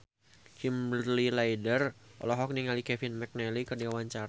Kimberly Ryder olohok ningali Kevin McNally keur diwawancara